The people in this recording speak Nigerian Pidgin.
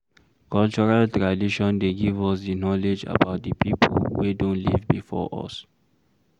Cultural tradition dey give us di knowledge about di pipo wey don live before us